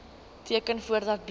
teken voordat bloed